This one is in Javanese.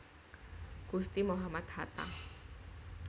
Gusti Muhammad Hatta